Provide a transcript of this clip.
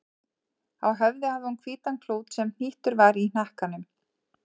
Á höfði hafði hún hvítan klút sem hnýttur var í hnakkanum.